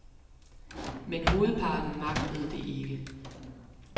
Men hovedparten magtede det ikke.